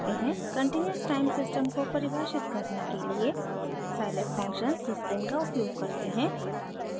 continuous time system को परिभाषित करने के लिए scilab फंक्शन syslin का उपयोग करते हैं